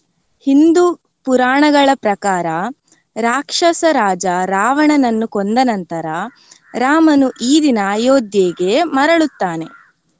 ಹಿಂದೂ ಪುರಾಣಗಳ ಪ್ರಕಾರ ರಾಕ್ಷಸ ರಾಜ ರಾವಣನನ್ನು ಕೊಂದ ನಂತರ ರಾಮನು ಈ ದಿನ ಅಯೋಧ್ಯೆಗೆ ಮರಳುತ್ತಾನೆ.